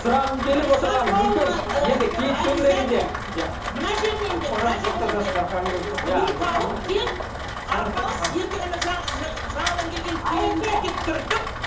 сұрағым келіп отырғаны мүмкін енді киіт төңірегінде иә мына жерінен де мына жерінен де мін тауып тек арпалыс ертең ана жаңадан келген келінді тек түртіп